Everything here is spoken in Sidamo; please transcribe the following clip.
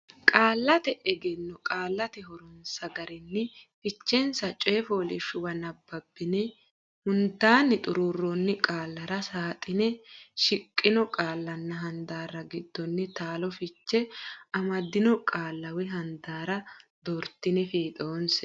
Qaallate Egenno Qaallate Horonsa Garinni Fichensa coy fooliishshuwa nabbabbine hundaanni xuruurroonni qaallara saaxinete shiqqino qaallanna handaarra giddonni taalo fiche amaddino qaalla woy handaarra doortine fiixoonse.